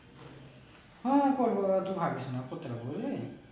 হ্যাঁ করবো তুই ভাবিস না করতে পারবো নি